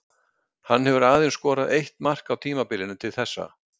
Hann hefur aðeins skorað eitt mark á tímabilinu til þessa.